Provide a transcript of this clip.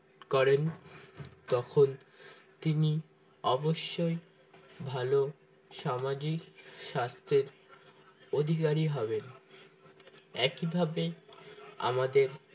করেন তখন তিনি অবশ্যই ভালো সামাজিক স্বাস্থ্যের অধিকারী হবে একইভাবে আমাদের